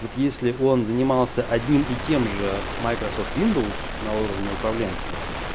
вот если он занимался одним и тем же с майкрософт виндоус на уровне управленца